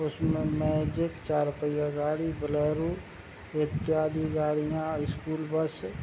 उसमें मैजिक चार पहिया गाड़ी बोलेरो इत्यादि गाड़ियां स्कूल बस --